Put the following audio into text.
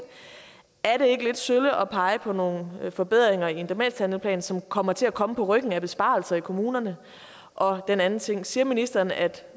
er er det ikke lidt sølle at pege på nogle forbedringer i en demenshandleplan som kommer til at komme på ryggen af besparelser i kommunerne og den anden ting er siger ministeren at